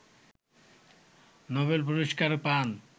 Nobel পুরস্কার পান